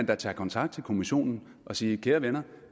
da tage kontakt til kommissionen og sige kære venner